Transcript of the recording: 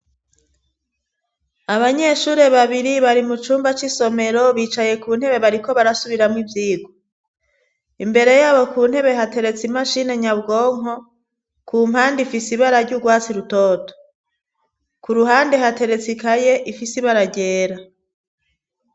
Abanyeshuri babiri bari mu cumba c'isomero bicaye ku ntebe bariko barasubiramwo ivyigwa imbere yabo ku ntebe hateretse imashini nyabwonko ku mpande ifise ibara ry' ugwatsi rutoto ku ruhande hateretse ikaye ifise ibara ryera.